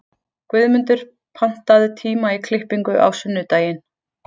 Guðmundur, pantaðu tíma í klippingu á sunnudaginn.